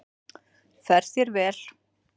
Fer þér vel!